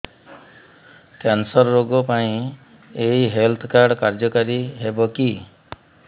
cancer ରୋଗ ପାଇଁ ଏଇ ହେଲ୍ଥ କାର୍ଡ କାର୍ଯ୍ୟକାରି ହେବ କି